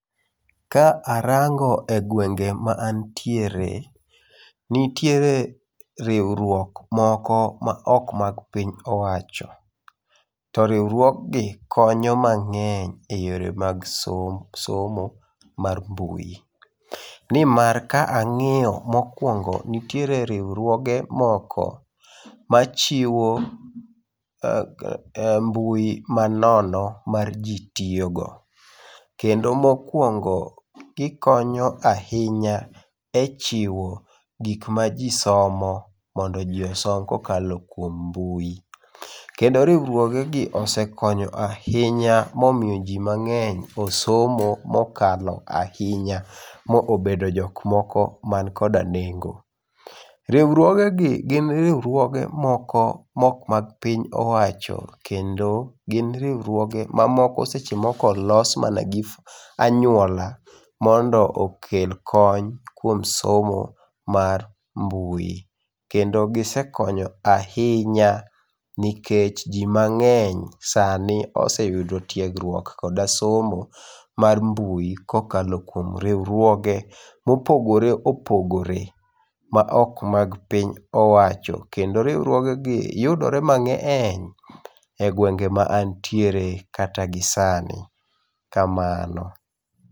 Ka arango e gwenge ma antiere nitiere riwruok moko ma ok mag piny owacho to riwruok gi konyo mangeny e weche mag somo mar mbui ni mar ka angiyo mokwongo nitiere riwruoge moko ma chiwo mbui ma nono ma ji tiyo go kendo mokwongo gi konyo ahinya e chiwo gik ma ji somo mondo ji osom ka okalo kwuom mbui kendo riwruoge gi osekonyo ahinya momiyo ji mangeny osomo mokalo ahinya maobedo jok moko man koda nengo riwruoge gi gin riwruoge moko ma ok mag piny owacho kendo gin riwruoge ma seche moko olos mana gi anywuola mondo okel kony kwuom somo mar mbui kendo gi sekonyo ahinya nikech ji mangeny sani oseyudo tegruok koda somo mar mbui kokalo kuom riwruoge mopogore opogore ma ok mag piny owacho kendo riwruoge gi yudore mangeny e gwenge ma wantiere kata gi sani kamano